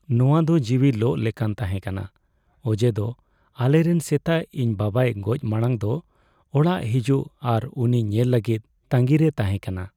ᱱᱚᱶᱟ ᱫᱚ ᱡᱤᱣᱤ ᱞᱚᱜ ᱞᱮᱠᱟᱱ ᱛᱟᱦᱮᱸ ᱠᱟᱱᱟ ᱚᱡᱮᱫᱚ ᱟᱞᱮᱨᱮᱱ ᱥᱮᱛᱟ ᱤᱧ ᱵᱟᱵᱟᱭ ᱜᱚᱡ ᱢᱟᱲᱟᱝ ᱫᱚ ᱚᱲᱟᱜ ᱦᱤᱡᱩᱜ ᱟᱨ ᱩᱱᱤ ᱧᱮᱞ ᱞᱟᱹᱜᱤᱫ ᱛᱟᱺᱜᱤ ᱨᱮᱭ ᱛᱦᱟᱮᱸ ᱠᱟᱱᱟ ᱾